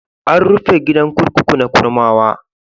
An rufe gidan kurkuku na Kurmawa.